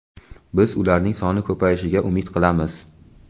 Biz ularning soni ko‘payishiga umid qilamiz.